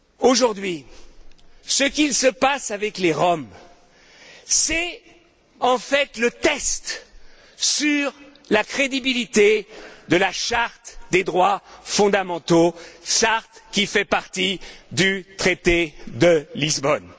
Aujourd'hui, ce qui se passe avec les Roms, c'est en fait le test sur la crédibilité de la charte des droits fondamentaux, charte qui fait partie du traité de Lisbonne.